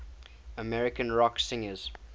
american rock singers